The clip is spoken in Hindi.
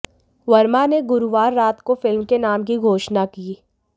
वर्मा ने गुरुवार रात को फिल्म के नाम की घोषणा की